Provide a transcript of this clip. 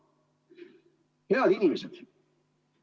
Head inimesed!